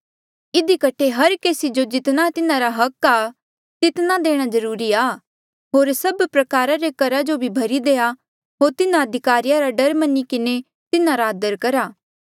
इधी कठे हर केसी जो जितना तिन्हारा हक आ तितना देणा जरूरी आ होर सब प्रकारा रे करा जो भरी देआ होर तिन्हा अधिकारिया रा डर मनी किन्हें तिन्हारा आदर करा